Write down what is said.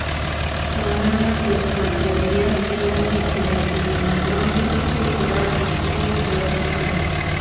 સાંગણવા ચોક પાસે રીયાઝ દલની હત્યાના ગુનામાં ત્રણ વર્ષથી ફરાર ઇસ્માઇલ દલ પકડાયો